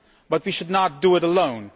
But we should not do it alone.